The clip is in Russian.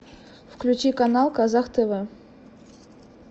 включи канал казах тв